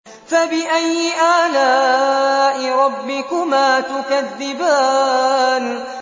فَبِأَيِّ آلَاءِ رَبِّكُمَا تُكَذِّبَانِ